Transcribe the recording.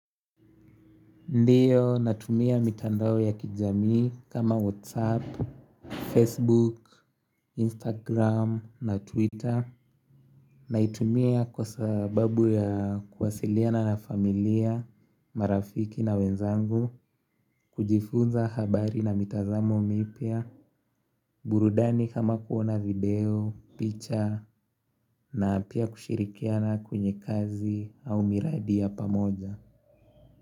Ndiyo, natumia mitandao ya kijami kama whatsapp, facebook, instagram na twitter naitumia kwa sababu ya kuwasiliana na familia, marafiki na wenzangu, kujifunza habari na mitazamo mipya burudani kama kuona video, picha na pia kushirikiana kwenye kazi au miradi ya pamoja.